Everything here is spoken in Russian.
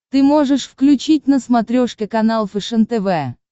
ты можешь включить на смотрешке канал фэшен тв